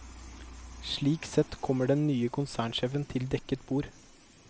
Slik sett kommer den nye konsernsjefen til dekket bord.